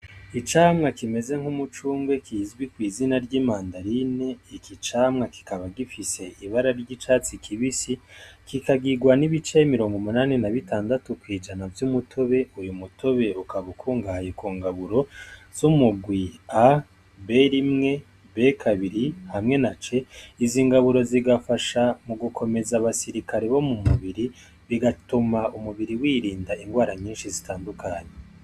Icamwa kimeze nk'umucungwe kizwi kw'izina ry'i mandarine iki camwa kikaba gifise ibara ry'icatsi kibisi kikagirwa n'ibice mirongo umunani na b'itandatu kw'ijana vy'umutobe uyu mutobe ukaba ukungaye ku ngaburo z'umugwi a ber imwe beki abiri hamwe na cee izo ingaburo zigafasha mu gukomeza abasirikale bo mu mubiri bigatuma umubiri wirinda ingwara nyinshi zitandukanye.